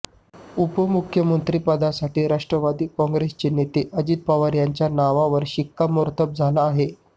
उपमुख्यमंत्रिपदासाठी राष्ट्रवादी काँग्रेसचे नेते अजित पवार यांच्या नावावर शिक्कामोर्तब झालं आहे